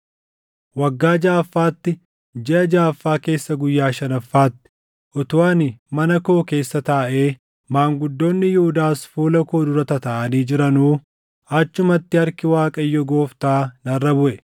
Waggaa jaʼaffaatti, jiʼa jaʼaffaa keessa guyyaa shanaffaatti, utuu ani mana koo keessa taaʼee, maanguddoonni Yihuudaas fuula koo dura tataaʼanii jiranuu achumatti harki Waaqayyo Gooftaa narra buʼe.